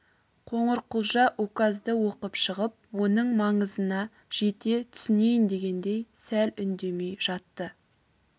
қоңырқұлжа указды оқып шығып оның маңызына жете түсінейін дегендей сәл үндемей жатты